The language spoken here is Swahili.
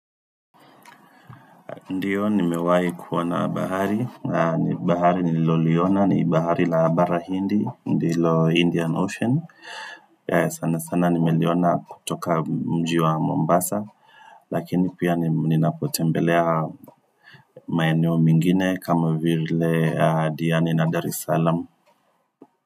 Ndiyo nimewahi kuona bahari, bahari nililoliona ni bahari la bara hindi, ndilo Indian Ocean sana sana nimeliona kutoka mji wa Mombasa Lakini pia ninapotembelea maeneo mengine kama vile Diani la Daresalam.